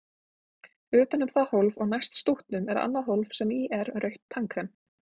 Utan um það hólf og næst stútnum er annað hólf sem í er rautt tannkrem.